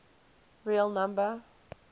real number